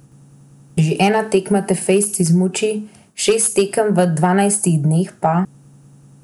Že ena tekma te fejst izmuči, šest tekem v dvanajstih dneh pa ...